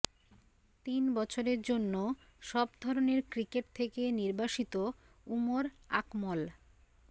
তিন বছরের জন্য সব ধরণের ক্রিকেট থেকে নির্বাসিত উমর আকমল